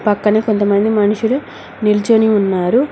పక్కన కొంతమంది మనుషులు నిల్చొని ఉన్నారు.